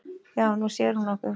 Já, Nú sér hún okkur